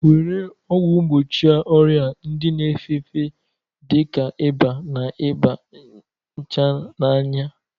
Were ọgwụ mgbochi ọrịa ndị na-efe efe dị ka ịba, na iba nchananya